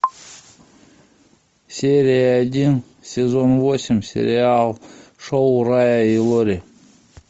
серия один сезон восемь сериал шоу фрая и лори